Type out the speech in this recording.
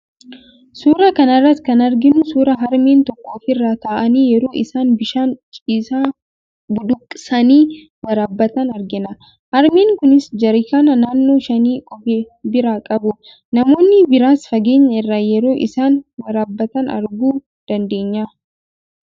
Suuraa kana irratti kan arginu suuraa harmeen tokko ofirra taa'anii yeroo isaan bishaan ciisaa budduuqsanii waraabbatan argina. Harmeen kunis jarakiinaa naannoo shanii of biraa qabu. Namoonni biraas fageenya irraa yeroo isaan waraabbatan arguu dandeenya.